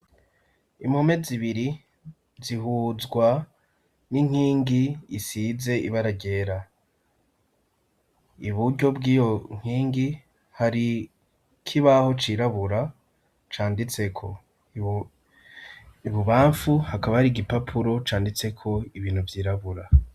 Impome zibiri zihuzwa n'inkingi isize ibaragera i buryo bw'iyo nkingi hari koibaho cirabura canditseko ibubamfu hakaba hari igipapuro canditseko ibintu vyirabura.